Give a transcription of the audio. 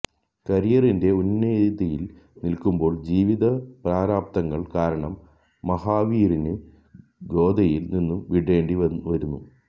കരിയറിന്റെ ഉന്നതിയിൽ നിൽക്കുമ്പോൾ ജീവിത പ്രാരാബ്ധങ്ങൾ കാരണം മഹാവീറിന് ഗോദയില് നിന്നും വിടേണ്ടി വരുന്നു